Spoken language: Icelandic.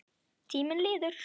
Tíminn líður.